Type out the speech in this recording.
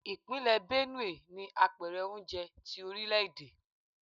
Ìpínlẹ̀ Benue ni Apẹ̀rẹ̀ oúnjẹ tí orílè-èdè.